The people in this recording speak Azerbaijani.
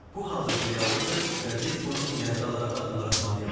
Bu hazırki reallıqdır və biz bunu nəzərə alaraq addımlar atmalıyıq.